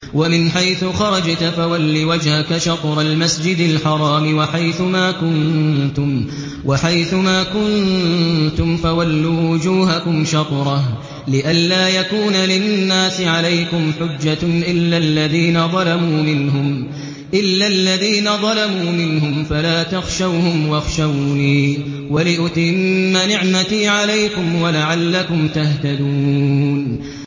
وَمِنْ حَيْثُ خَرَجْتَ فَوَلِّ وَجْهَكَ شَطْرَ الْمَسْجِدِ الْحَرَامِ ۚ وَحَيْثُ مَا كُنتُمْ فَوَلُّوا وُجُوهَكُمْ شَطْرَهُ لِئَلَّا يَكُونَ لِلنَّاسِ عَلَيْكُمْ حُجَّةٌ إِلَّا الَّذِينَ ظَلَمُوا مِنْهُمْ فَلَا تَخْشَوْهُمْ وَاخْشَوْنِي وَلِأُتِمَّ نِعْمَتِي عَلَيْكُمْ وَلَعَلَّكُمْ تَهْتَدُونَ